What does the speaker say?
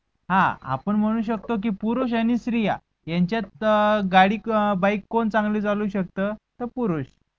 हा आपन मुनू शख्तो की पुरुष आणि स्त्री येनचेंथ अं गाडी अह bike कोण चांगली चालव शकतो तो पुरुष.